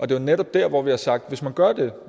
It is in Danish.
det er netop der hvor vi har sagt at hvis man gør det